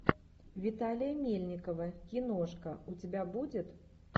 виталия мельникова киношка у тебя будет